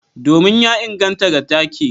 Domin ya inganta ga take.